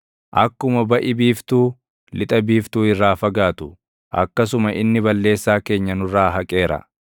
akkuma baʼi biiftuu lixa biiftuu irraa fagaatu, akkasuma inni balleessaa keenya nurraa haqeera.